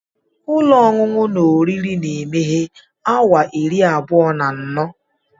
Ụlọ oriri na ọṅụṅụ na-emeghe awa iri abụọ na anọ.